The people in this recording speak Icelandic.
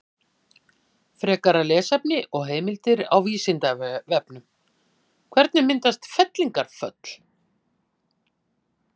Frekara lesefni og heimildir á Vísindavefnum: Hvernig myndast fellingafjöll?